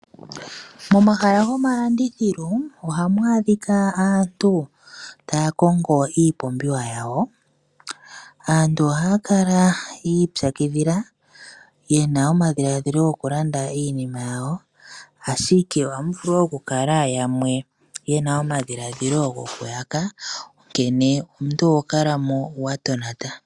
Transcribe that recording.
Momahala gomalandithilo ohamu adhika aantu taya kongo iipumbiwa yayo. Aantu ohaya kala yi ipyakidhila yena omadhilaadhilo gokulanda iinima yawo, ashike ohamu vulu okukala muna yamwe ye na omadhilaadhilo gokuyaka, onkene omuntu oho kala mo wa tonata.